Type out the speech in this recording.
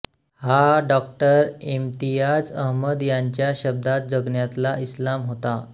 हा डॉ इम्तियाज अहमद यांच्या शब्दात जगण्यातला इस्लाम होता